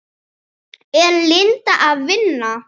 Er Linda að vinna?